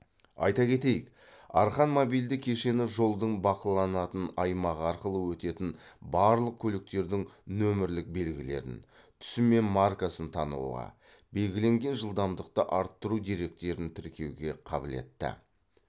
айта кетейік арқан мобильді кешені жолдың бақыланатын аймағы арқылы өтетін барлық көліктердің нөмірлік белгілерін түсі мен маркасын тануға белгіленген жылдамдықты арттыру деректерін тіркеуге қабілетті